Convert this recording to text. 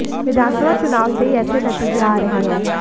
विधानसभा चुनाव से ही ऐेसे नतीजे आ रहे हैं